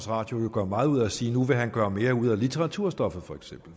radio gør meget ud af at sige at nu vil han gøre mere ud af litteraturstoffet